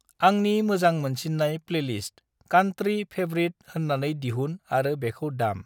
आंनि मोजां मोनसिननाय प्लैलिस्त कान्त्रि फैवरित होननाखौ दिहुन आरो बिखौ दाम।